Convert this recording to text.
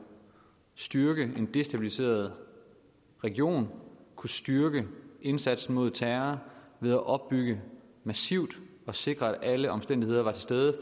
styrke en destabiliseret region og kunne styrke indsatsen mod terror ved at opbygge massivt og sikre at alle omstændigheder er til stede